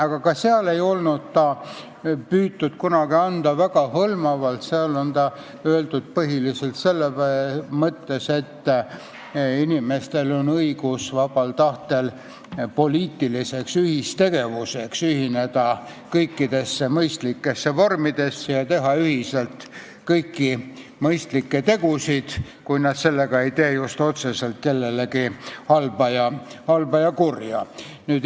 Aga ka seal ei olnud püütud seda anda väga hõlmavalt, seal on seda öeldud põhiliselt selles mõttes, et inimestel on õigus vabal tahtel poliitiliseks ühistegevuseks ühineda kõikidesse mõistlikesse vormidesse ja teha ühiselt kõiki mõistlikke tegusid, kui nad sellega ei tee otseselt kellelegi halba ega kurja.